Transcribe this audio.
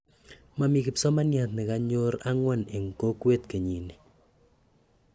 Momii kipsomanyat negonyor ang'wan en kokweet kenyini